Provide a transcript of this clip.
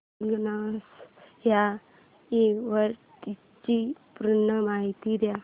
ignition या इव्हेंटची पूर्ण माहिती दे